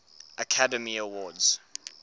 academy awards